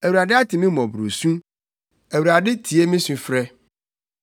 Awurade ate me mmɔborɔsu; Awurade tie me sufrɛ.